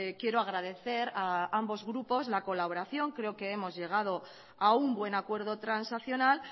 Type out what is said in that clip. quiero agradecer a ambos grupos la colaboración creo que hemos llegado a un buen acuerdo transaccional